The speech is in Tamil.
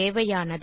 தேவையானது